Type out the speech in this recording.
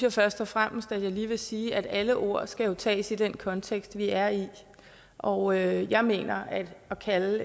jeg først og fremmest at jeg lige vil sige at alle ord jo skal ses i den kontekst vi er i og jeg mener at det at kalde